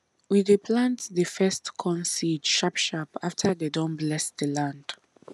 we dey plant the first corn seed sharp sharp after dem don bless the land